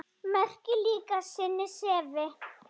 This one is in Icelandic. Merkir líka sinni sefi.